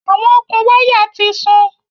Awọn okun waya ti sun